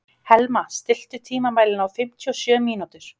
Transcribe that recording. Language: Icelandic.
Helma, stilltu tímamælinn á fimmtíu og sjö mínútur.